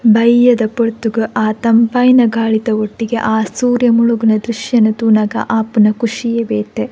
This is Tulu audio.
ಬಯ್ಯದ ಪೊರ್ತುಗು ಆ ತಂಪಾಯಿನ ಗಾಳಿದ ಒಟ್ಟಿಗೆ ಆ ಸೂರ್ಯ ಮುಳುಗುನ ದ್ರಶ್ಯನ್ ತೂನಗ ಆಪುನ ಖುಷಿಯೇ ಬೇತೆ.